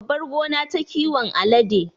Sunada babbar gona ta kiwon alade